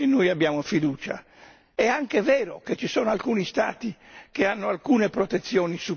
Quindi, è nella dinamica che si crea con questo provvedimento che noi abbiamo fiducia.